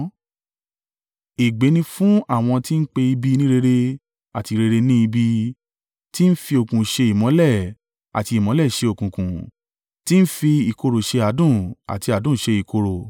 Ègbé ni fún àwọn tí ń pe ibi ní rere, àti rere ní ibi, tí ń fi òkùnkùn ṣe ìmọ́lẹ̀ àti ìmọ́lẹ̀ ṣe òkùnkùn, tí ń fi ìkorò ṣe adùn àti adùn ṣe ìkorò.